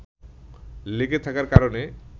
লেগে থাকার কারণে